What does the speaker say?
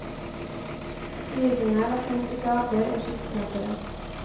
Lysene var tent i gater og skyskrapere.